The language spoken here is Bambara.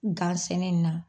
Gan sɛnɛ na